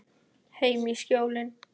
Heim í Skjólin.